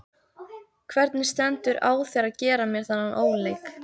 Hvernig stendur á þér að gera mér þennan óleik?